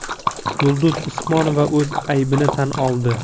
Yulduz Usmonova o‘z aybini tan oldi.